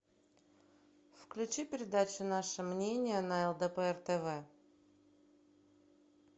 включи передачу наше мнение на лдпр тв